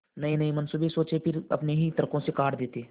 नयेनये मनसूबे सोचते पर फिर अपने ही तर्को से काट देते